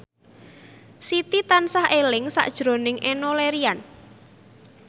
Siti tansah eling sakjroning Enno Lerian